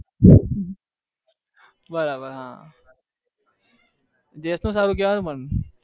બરાબર હા gents નું સારું કેવાય ને